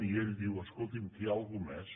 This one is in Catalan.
i ell diu escolti’m què hi ha algú més